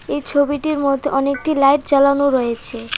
এই ছবিটির মধ্যে অনেকটি লাইট জ্বালানো রয়েছে।